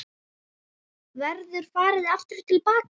Verður farið aftur til baka?